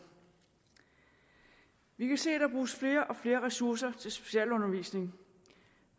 vi kan se at der bruges flere og flere ressourcer til specialundervisning